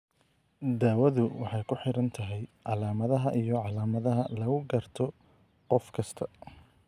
Daawadu waxay ku xidhan tahay calaamadaha iyo calaamadaha lagu garto qof kasta.